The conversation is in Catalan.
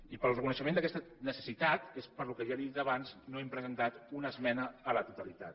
i pel reconeixement d’aquesta necessitat és pel que i ja li ho he dit abans no hem presentat una esmena a la totalitat